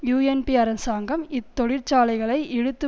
UNP அரசாங்கம் இத் தொழிற்சாலைகளை இழுத்து